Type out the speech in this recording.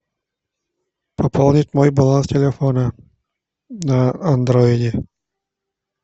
пополнить мой баланс телефона на андроиде